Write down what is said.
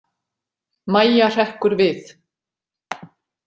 Mæja hrekkur við.